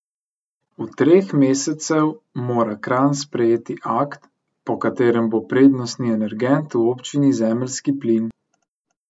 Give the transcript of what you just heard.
V treh mesecev mora Kranj sprejeti akt, po katerem bo prednostni energent v občini zemeljski plin.